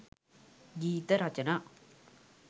ගීත රචනා